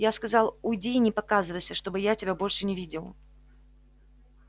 я сказал уйди и не показывайся чтобы я тебя больше не видел